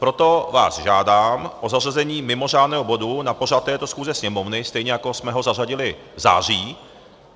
Proto vás žádám o zařazení mimořádného bodu na pořad této schůze Sněmovny, stejně jako jsme ho zařadili v září.